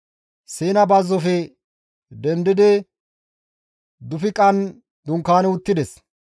Siina bazzofe dendidi Dufiqan dunkaani uttides.